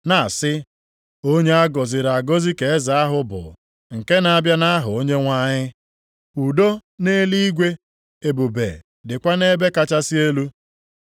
na-asị, “Onye a gọziri agọzi ka eze ahụ bụ nke na-abịa nʼaha Onyenwe anyị.” + 19:38 \+xt Abụ 118:26\+xt* “Udo nʼeluigwe, ebube dịkwa nʼebe kachasị elu.”